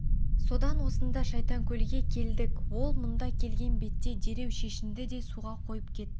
содан осында шайтанкөлге келдік ол мұнда келген бетте дереу шешінді де суға қойып кетті